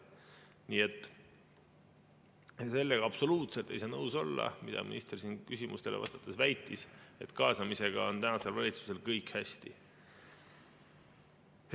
Nii et sellega absoluutselt ei saa nõus olla, mida minister siin küsimustele vastates väitis, et kaasamisega on tänasel valitsusel kõik hästi.